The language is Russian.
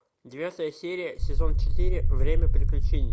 девятая серия сезон четыре время приключений